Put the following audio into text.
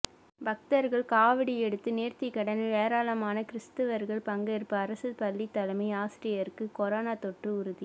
பக்தர்கள் காவடி எடுத்து நேர்த்திக்கடன் ஏராளமான கிறிஸ்தவர்கள் பங்கேற்பு அரசு பள்ளி தலைமை ஆசிரியருக்கு கொரோனா தொற்று உறுதி